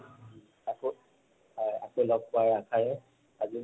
আকৌ, আকৌ লগ পোৱাৰ আশাৰে, আজি